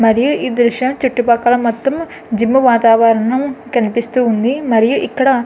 మరియు ఈ దృశ్యం చుట్టుపక్కల మొత్తం జిం వాతావరణం కనిపిస్తూవుంది. మరియు ఇక్కడ --